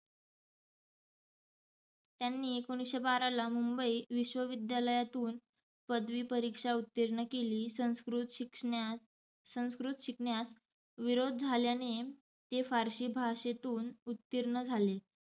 त्यांनी एकोणिसशे बाराला मुंबई विश्वविद्यालयातुन पदवी परिक्षा उत्तिर्ण केली. संस्कृत शिकण्यात संस्कृत शिकण्यास विरोध झाल्याने ते फारसी भाषेतुन उत्तीर्ण झाले.